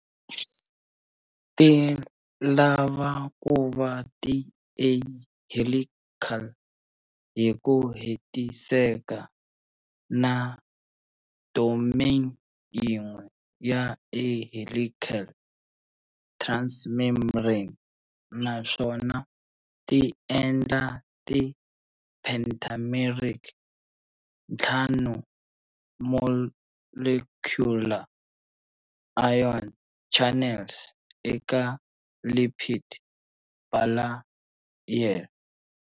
Ti lava kuva ti a-helical hiku hetiseka, na domain yin'we ya a-helical transmembrane, naswona ti endla ti pentameric, ntlhanu-molecular, ion channels eka lipid bilayer.